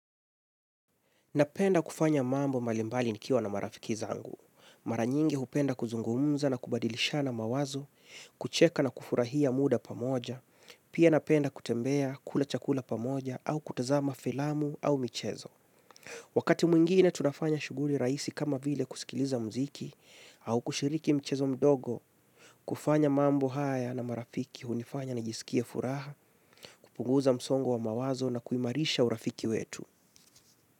Napenda kufanya mambo malimbali nikiwa na marafiki zangu. Mara nyingi hupenda kuzungumza na kubadilishana mawazo, kucheka na kufurahia muda pamoja, pia napenda kutembea kula chakula pamoja au kutazama filamu au michezo. Wakati mwingine tunafanya shughuli rahisi kama vile kusikiliza muziki au kushiriki mchezo mdogo, kufanya mambo haya na marafiki hunifanya nijisikie furaha, kupunguza msongo wa mawazo na kuimarisha urafiki wetu.